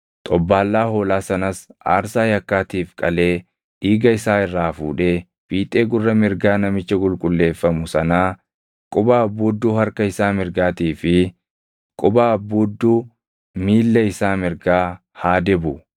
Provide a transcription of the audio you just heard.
Xobbaallaa hoolaa sanas aarsaa yakkaatiif qalee dhiiga isaa irraa fuudhee fiixee gurra mirgaa namicha qulqulleeffamu sanaa, quba abbuudduu harka isaa mirgaatii fi quba abbuudduu miilla isaa mirgaa haa dibu.